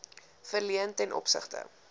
verleen ten opsigte